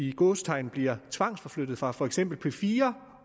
i gåseøjne bliver tvangsforflyttet fra for eksempel p4